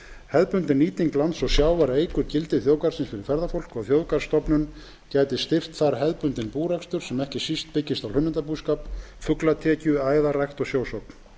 hefðbundin nýting lands og sjávar eykur gildi þjóðgarðsins fyrir ferðafólk og þjóðgarðsstofnun gæti styrkt þar hefðbundinn búrekstur sem ekki síst byggist á hlunnindabúskap fuglatekju æðarrækt og sjósókn